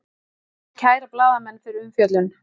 Vill kæra blaðamenn fyrir umfjöllun